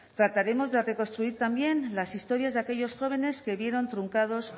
trataremos de reconstruir también las historias de aquellos jóvenes se vieron truncados